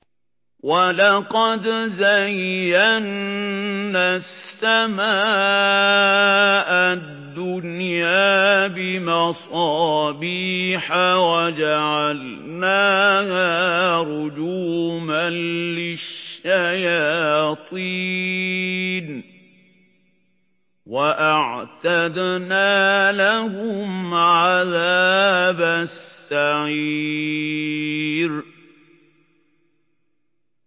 وَلَقَدْ زَيَّنَّا السَّمَاءَ الدُّنْيَا بِمَصَابِيحَ وَجَعَلْنَاهَا رُجُومًا لِّلشَّيَاطِينِ ۖ وَأَعْتَدْنَا لَهُمْ عَذَابَ السَّعِيرِ